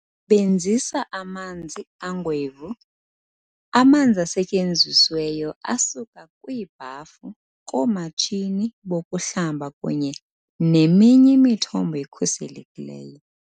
Sebenzisa "amanzi angwevu"-amanzi asetyenzisiweyo asuka kwiibhafu, koomatshini bokuhlamba kunye neminye imithombo ekhuselekileyo.